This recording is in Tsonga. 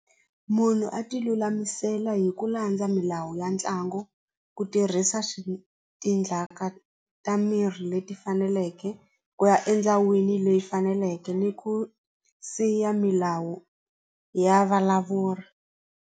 Munhu a ti lulamisela hi ku landza milawu ya ntlangu ku tirhisa ta miri leti faneleke ku ya endhawini leyi faneleke ni ku siya milawu ya valavuri.